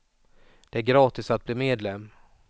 Det är gratis att bli medlem.